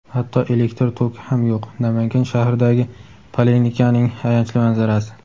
"Hatto elektr toki ham yo‘q" — Namangan shahridagi poliklinikaning ayanchli manzarasi.